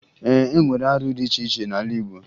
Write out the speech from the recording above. E nwere arụ dị iche iche n'ala Igbo